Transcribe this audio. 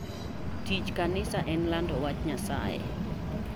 Tich kanisa en lando wach Nyasaye.